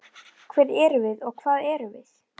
Hver erum við og hvað erum við?